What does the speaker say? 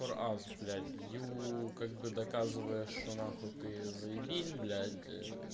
фор ас блядь ю как бы доказывая что нахуй ты заебись блядь